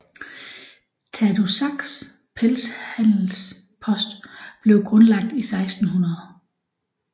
Tadoussacs pelshandelspost blev grundlagt i 1600